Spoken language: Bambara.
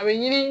A bɛ ɲini